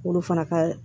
Olu fana ka